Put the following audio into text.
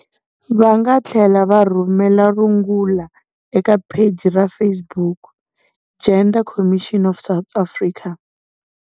Va nga tlhela va rhumela rungula eka pheji ra Facebook- Gender Commission of South Africa.